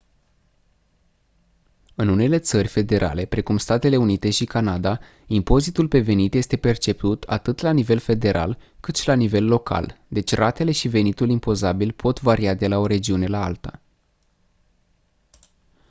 în unele țări federale precum statele unite și canada impozitul pe venit este perceput atât la nivel federal cât și la nivel local deci ratele și venitul impozabil pot varia de la o regiune la alta